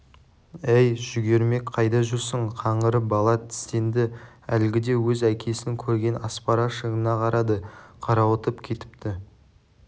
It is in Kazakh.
әй жүгермек қайда жүрсің қаңғырып бала тістенді әлгіде өз әкесін көрген аспара шыңына қарады қарауытып кетіпті